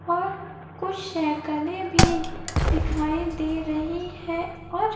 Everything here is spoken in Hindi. और कुछ सैकलें भी दिखाई दे रही है और--